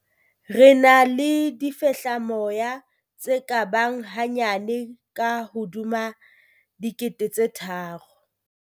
"Re na le difehlamoya tse ka bang hanyane ka hodima 3 000."